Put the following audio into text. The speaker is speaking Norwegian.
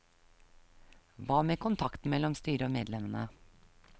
Hva med kontakten mellom styret og medlemmene?